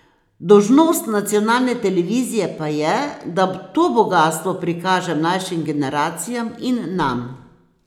Dolžnost nacionalne televizije pa je, da to bogastvo prikaže mlajšim generacijam in nam.